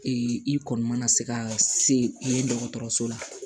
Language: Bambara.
i kɔni mana se ka se yen dɔgɔtɔrɔso la